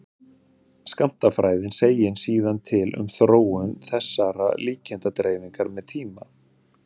skammtafræðin segir síðan til um þróun þessarar líkindadreifingar með tíma